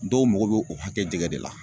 Dɔw mago be o hakɛ jɛgɛ de la